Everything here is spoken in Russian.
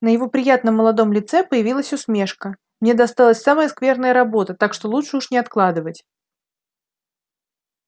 на его приятном молодом лице появилась усмешка мне досталась самая скверная работа так что лучше уж не откладывать